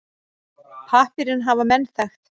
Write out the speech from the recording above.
Pappírinn hafa menn þekkt.